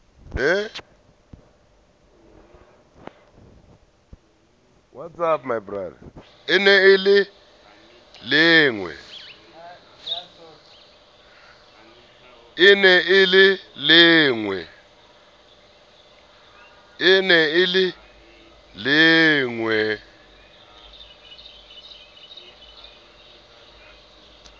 e ne e le lengwee